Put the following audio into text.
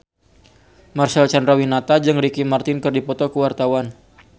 Marcel Chandrawinata jeung Ricky Martin keur dipoto ku wartawan